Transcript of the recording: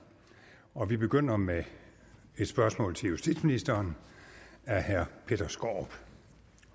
og vi begynder med et spørgsmål til justitsministeren af herre peter skaarup